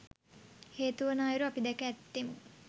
හේතු වන අයුරු අපි දැක ඇත්තේමු